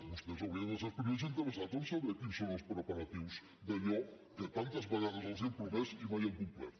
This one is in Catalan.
vostès haurien de ser els primers interessats en saber quins són els preparatius d’allò que tantes vegades els han promès i mai han complert